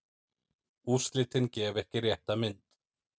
Úrslitin gefa ekki rétta mynd.